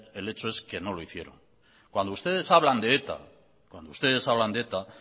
el hecho es que no lo hicieron cuando ustedes hablan de eta cuando ustedes hablan de eta